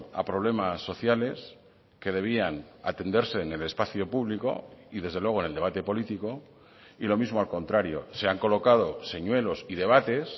a problemas sociales que debían atenderse en el espacio público y desde luego en el debate político y lo mismo al contrario se han colocado señuelos y debates